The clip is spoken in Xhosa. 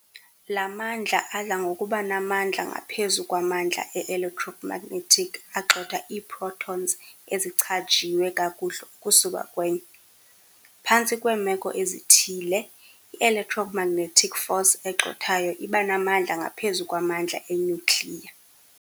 La mandla adla ngokuba namandla ngaphezu kwamandla e-electromagnetic agxotha iiprotons ezichajiwe kakuhle ukusuka kwenye. Phantsi kweemeko ezithile, i-electromagnetic force egxothayo iba namandla ngaphezu kwamandla enyukliya.